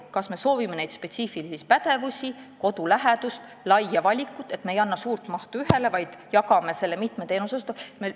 Kas me soovime spetsiifilisi pädevusi, kodulähedust või laia valikut, st me ei anna suurt mahtu ühele, vaid jagame selle mitme teenuseosutaja vahel?